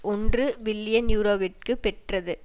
ஒன்று பில்லியன் யூரோவிற்கு பெற்றது